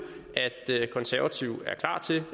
at konservative er klar til